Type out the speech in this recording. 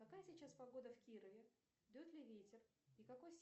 какая сейчас погода в кирове дует ли ветер и какой